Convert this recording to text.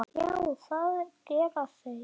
Já, það gera þeir.